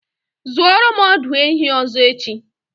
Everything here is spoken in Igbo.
Zụoro m ọdụ ehi ọzọ echi!